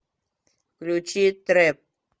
включи трэп